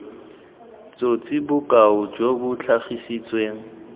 tsosi bokao jo bo tlhagisitsweng